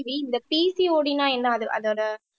இந்த PCOD ன்னா என்ன அது அதோட